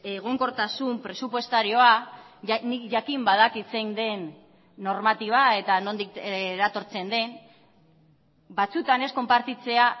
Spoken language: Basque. egonkortasun presupuestarioa nik jakin badakit zein den normatiba eta nondik eratortzen den batzuetan ez konpartitzea